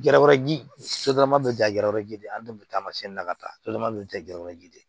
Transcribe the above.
Gɛrɛ wɛrɛji sodɔrɔma bɛ ja gɛrɛ ji de an denw bɛ taamasiyɛn na ka taa sotrama dun tɛ gɛrɛ ji de ye